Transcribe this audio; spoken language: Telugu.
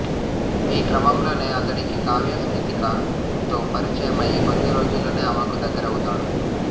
ఈ క్రమంలోనే అతడికి కావ్య స్మితిక తో పరిచయం అయి కొద్దిరోజుల్లోనే ఆమెకు దగ్గరవుతాడు